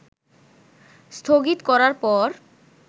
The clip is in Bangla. স্থগিত করার পর